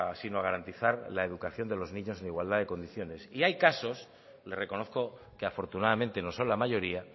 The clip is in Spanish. sino a garantizar la educación de los niños en igualdad de condiciones y hay casos le reconozco que afortunadamente no son la mayoría